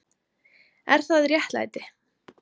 Er það réttlæti?